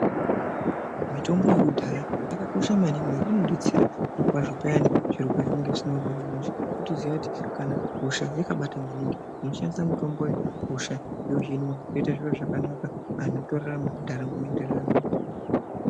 Mitombo yekudhaya yakakosha maningi ngekuti inodetsera zvirokwazvo payani zviro pazvinenge zvisina kumira mushe wotoziya kuti kana hosha yakabata maningi unoshandisa mutombo uyu hosha yohinwa yoita zviro zvakanaka anhu otorarama ndaramo yoto enderera mberi.